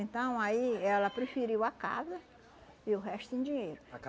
Então, aí, ela preferiu a casa e o resto em dinheiro. A